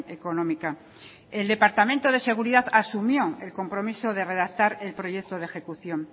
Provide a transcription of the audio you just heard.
económica el departamento de seguridad asumió el compromiso de redactar el proyecto de ejecución